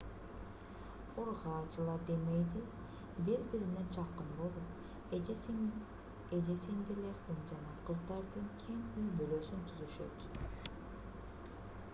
ургаачылар демейде бири-бирине жакын болуп эже-сиңдилердин жана кыздардын кең үй-бүлөсүн түзүшөт